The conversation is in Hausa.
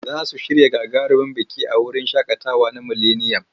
Za su shirya gagarumin biki a wurin shaƙatawa na mileniyam.